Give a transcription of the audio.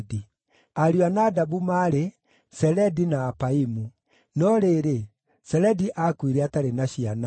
Ariũ a Nadabu maarĩ: Seledi na Apaimu. No rĩrĩ, Seledi aakuire atarĩ na ciana.